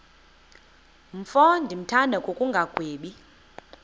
mfo ndimthanda ngokungagwebi